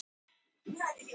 Þar voru tvær kirkjur.